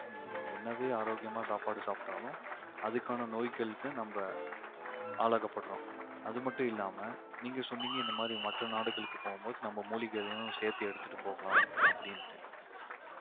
என்னவே ஆரோக்கியமா சாப்பாடு சாப்பிட்டாலும் அதுக்கான நோய்களுக்கு நம்ப ஆளாக்கப்படுறோம். அது மட்டும் இல்லாம சொன்னீங்க இந்த மாதிரி மற்ற நாடுகளுக்கு போகும் போது நம்ம மூலிகைகளையும் சேர்த்து எடுத்துட்டு போகலாம் அப்படின்ட்டு